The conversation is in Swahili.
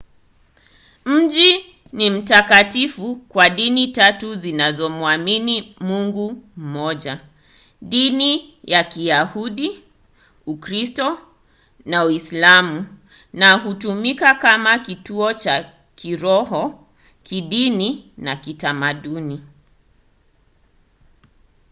mji ni mtakatifu kwa dini tatu zinazomwamini mungu mmoja - dini ya kiyahudi ukristo na uislamu na hutumika kama kituo cha kiroho kidini na kitamaduni